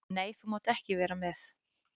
Nei, þú mátt ekki vera með.